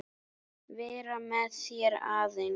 Vera með þér aðeins.